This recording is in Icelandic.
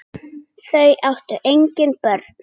Þau áttu engin börn.